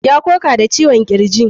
Ya koka da ciwon kirji.